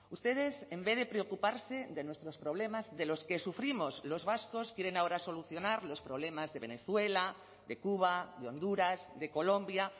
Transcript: ustedes en vez de preocuparse de nuestros problemas de los que sufrimos los vascos quieren ahora solucionar los problemas de venezuela de cuba de honduras de colombia